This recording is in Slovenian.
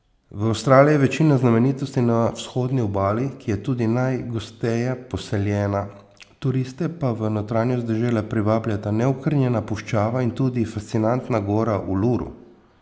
V Avstraliji je večina znamenitosti na vzhodni obali, ki je tudi najgosteje poseljena, turiste pa v notranjost dežele privabljata neokrnjena puščava in tudi fascinantna gora Uluru.